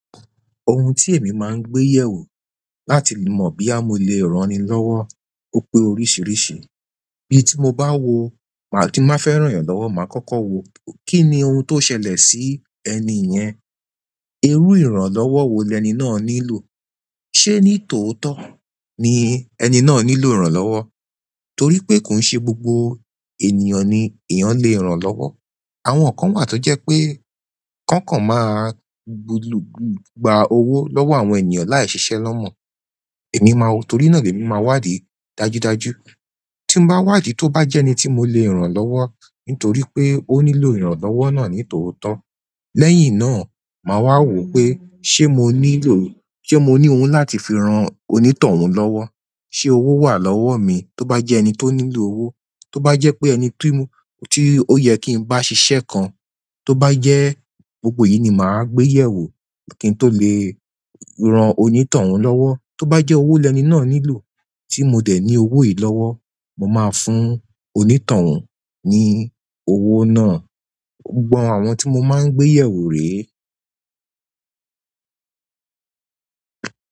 Ohun tí èmi máa ń gbé yẹ̀ wò láti mọ bi ya mo lè rán ni lọ́wọ́ ò pé oríṣiríṣi. Bí tí mo bá wo, bí mo bá fẹ́ rán yan lọ́wọ́, màá kọ́kọ́ wo kín ni ohun tó ṣẹlẹ̀ sí ẹni yẹn. Irú ìrànlọ́wọ́ wo lẹni náà nílò? Ṣé ní tòótọ́ ni ẹni náà nílò ìrànlọ́wọ́? Torí pé kò ń ṣe gbogbo ènìyàn ni ìyàn lè rán lọ́wọ́. Àwọn kan wà tó jẹ́ pé kankan máa gba owó lọ́wọ́ àwọn ènìyàn láì ṣiṣẹ́ lọ́mọ. Èmi máa wo, torí náà ni èmi máa wádìí dájúdájú. Tin ba wa ìdí tó bá jẹ ẹni tí mo lè ràn lọwọ nítorí pé òní ló ìran lọwọ na ní tótó lẹ́yìn náà, màá wá wo pé ṣé mo nílò, ṣé mo ní ohun láti fi ran oní tòhún lọ́wọ́. Ṣé owó wà lọ́wọ́ mi? Tóbá jẹ́ ẹni tó nílò owó, tó bá jẹ́ pé ẹni tí ó yẹ kí n bá ṣiṣẹ́ kan, tó bá jẹ́ gbogbo yìí ni màá gbé yẹ̀ wò kí n tó lè ran òní tóhun lọ́wọ́. Tóbá jẹ́ owó lẹ̀ ẹni náà nílò tí mo dẹ̀ ní owó yìí lọ́wọ́, mo máa fún òni t'ohun ní owó náà. Gbogbo àwọn tí mo máa ń gbé yẹ̀ wò rèé.